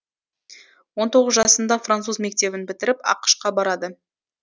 он тоғыз жасында француз мектебін бітіріп ақш қа барады